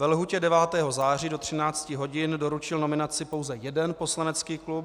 Ve lhůtě 9. září do 13 hodin doručil nominaci pouze jeden poslanecký klub.